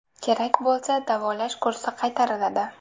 Kerak bo‘lsa davolash kursi qaytariladi.